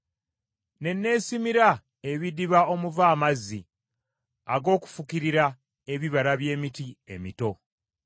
Ne neesimira ebidiba omuva amazzi ag’okufukirira ebibira by’emiti emito.